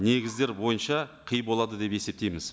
негіздер бойынша қи болады деп есептейміз